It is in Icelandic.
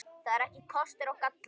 Það eru kostir og gallar.